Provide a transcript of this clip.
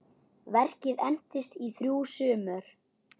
Verkið entist í þrjú sumur.